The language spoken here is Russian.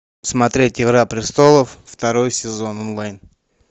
смотреть игра престолов второй сезон онлайн